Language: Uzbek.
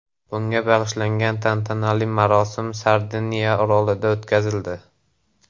Bunga bag‘ishlangan tantanali marosim Sardiniya orolida o‘tkazildi.